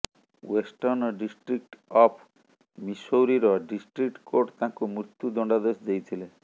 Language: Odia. ୱେଷ୍ଟର୍ଣ୍ଣ ଡିଷ୍ଟ୍ରିକ୍ଟ ଅଫ ମିସୌରିର ଡିଷ୍ଟ୍ରିକ୍ କୋର୍ଟ ତାଙ୍କୁ ମୃତ୍ୟୁ ଦଣ୍ଡାଦେଶ ଦେଇଥିଲେ